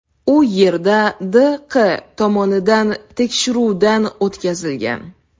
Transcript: U yerda D. Q. tomonidan tekshiruvdan o‘tkazilgan.